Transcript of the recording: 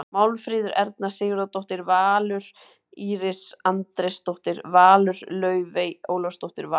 Málfríður Erna Sigurðardóttir- Valur Íris Andrésdóttir- Valur Laufey Ólafsdóttir- Valur